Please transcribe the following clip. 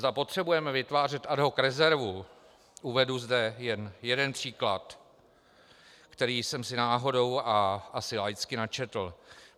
Zda potřebujeme vytvářet ad hoc rezervu - uvedu zde jen jeden příklad, který jsem si náhodou a asi laicky načetl.